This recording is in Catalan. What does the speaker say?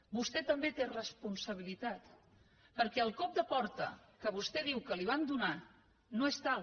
vostè també té responsabilitat perquè el cop de porta que vostè diu que li van donar no és tal